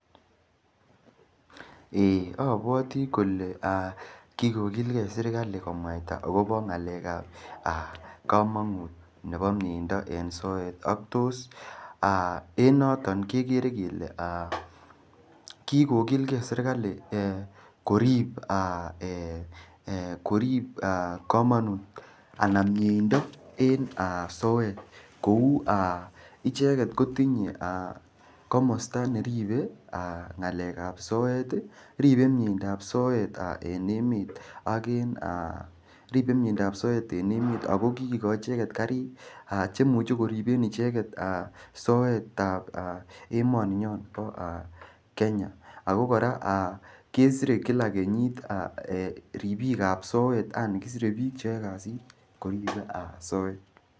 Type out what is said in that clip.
Apuote kole kikokilkei serikali komwaita akopo ng'alek ap kamanut nepo mieindo eng soet ak tos en noton kikere kele kikokilgei serikali korip kamanut anan mieindo en soet kou icheket kotinyei komosta neripei ng'alek ap soet ripe mieindo ap soet en emet akokikokoch icheket karik chemuche koripen icheket soket ap emoni nyo po Kenya ako kora kesire kila kenyit ripik ap soet yani kisirek piik cheyoei kasit korip soet